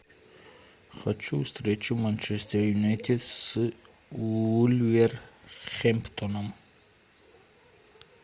хочу встречу манчестер юнайтед с вулверхэмптоном